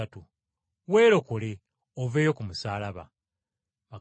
weerokole, okke wansi okuva ku musaalaba.”